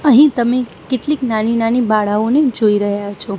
અહીં તમે કેટલીક નાની નાની બાળાઓને જોઈ રહ્યા છો.